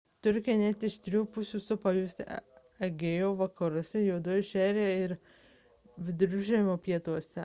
turkiją net iš trijų pusių supa jūros egėjo vakaruose juodoji šiaurėje ir viduržemio pietuose